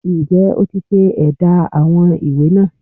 Ǹ jé o ti se édá àwọn ìwé náà